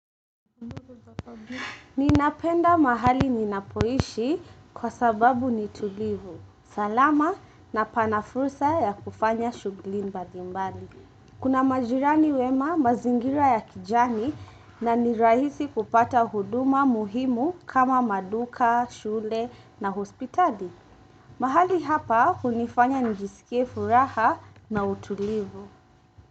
Ninapenda mahali ninapoishi kwa sababu ni tulivu. Salama na pana fursa ya kufanya shugli mbalimbali. Kuna majirani wema mazingira ya kijani na nirahisi kupata huduma muhimu kama maduka, shule na hospitali. Mahali hapa hunifanya njisikie furaha na utulivu.